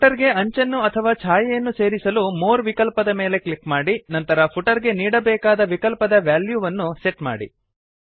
footer ಗೆ ಅಂಚನ್ನು ಅಥವಾ ಛಾಯೆಯನ್ನು ಸೇರಿಸಲು ಮೋರ್ ವಿಕಲ್ಪದ ಮೇಲೆ ಕ್ಲಿಕ್ ಮಾಡಿ ನಂತರ ಫುಟರ್ ಗೆ ನೀಡಾಬೇಕಾದ ವಿಕಲ್ಪದ ವ್ಯಾಲ್ಯೂವನ್ನು ಸೆಟ್ ಮಾಡಿ